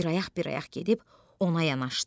Bir ayaq-bir ayaq gedib ona yanaşdı.